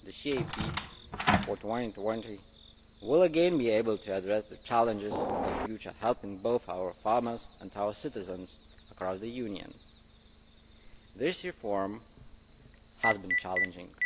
The CAP for 2020 will again be able to address the challenges of the future, helping both our farmers and our citizens across the Union. This reform has been challenging.